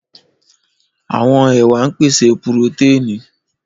Àwọn ẹwà ń pèsè purotẹ́ẹ̀nì.